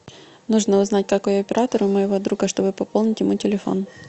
нужно узнать какой оператор у моего друга чтобы пополнить ему телефон